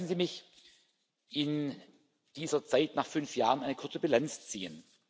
Lassen Sie mich in dieser Zeit nach fünf Jahren eine kurze Bilanz ziehen.